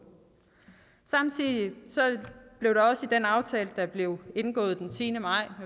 samtidig blev der også i den aftale der blev indgået den tiende maj